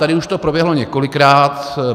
Tady už to proběhlo několikrát.